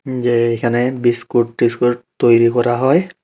যে এখানে বিস্কুট টিস্কুট তৈরি করা হয়।